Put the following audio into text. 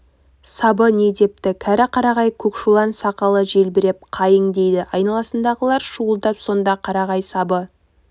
сабы не депті кәрі қарағай көкшулан сақалы желбіреп қайың дейді айналасындағылар шуылдап сонда қарағай сабы